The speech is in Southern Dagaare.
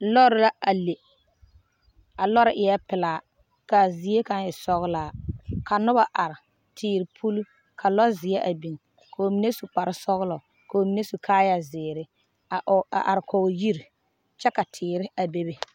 Lɔɔre la a le, a lɔɔre eɛ pelaa kaa zie kaŋ e sɔglaa ka noba are teere puliŋ, ka lɔɔ zeɛ a biŋ kɔɔ mine su kpare sɔglɔ kɔɔ mine su kaayɛ zeɛre a are kɔɔ yiri kyɛ ka teere a bebe